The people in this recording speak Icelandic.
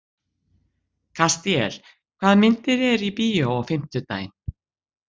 Kastíel, hvaða myndir eru í bíó á fimmtudaginn?